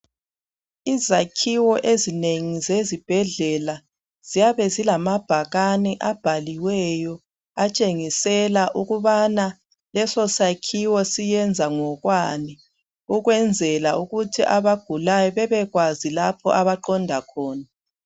Izakhiwo ezinengi zezibhedlela ziyabe zilamabhakane abhaliweyo. Atshengisela ukubana leso sakhiwo siyenza ngokwani .Ukwenzela ukuthi abagulayo bebekwazi lapho abaqonda khona.